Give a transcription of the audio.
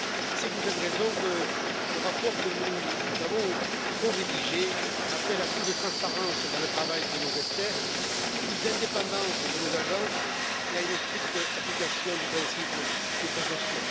C'est pour cette raison que le rapport que nous avons corédigé demande plus de transparence dans le travail de nos experts, plus d'indépendance de nos agences et une stricte application du principe de précaution.